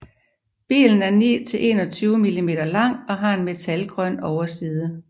Billen er 9 til 21 millimeter lang og har en metalgrøn overside